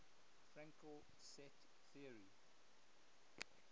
fraenkel set theory